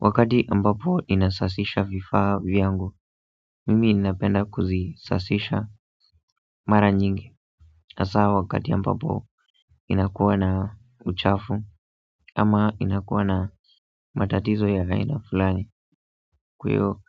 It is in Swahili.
Wakati ambapo ninasafisha vifaa vyangu mimi napenda kuzisafisha mara nyingi hasaa wakati ambapo inakuwa na uchafu ama inakuwa na matatizo ya aina fulani kwa iyo